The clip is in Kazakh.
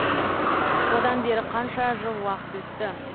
одан бері қанша жыл уақыт өтті